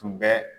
Tun bɛ